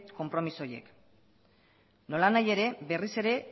konpromiso horiek nola nahi ere berriz ere